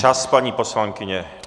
Čas, paní poslankyně.